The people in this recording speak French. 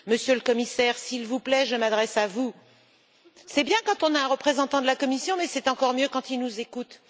Monsieur le Commissaire, s'il vous plaît, je m'adresse à vous c'est bien quand on a un représentant de la Commission, mais c'est encore mieux quand il nous écoute.